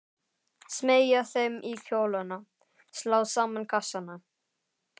Smeygja þeim í kjólana, slá saman kassana.